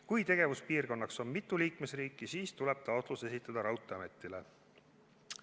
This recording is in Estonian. Kui tegevuspiirkonnaks on mitu liikmesriiki, siis tuleb taotlus esitada raudteeametile.